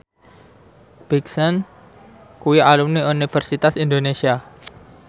Big Sean kuwi alumni Universitas Indonesia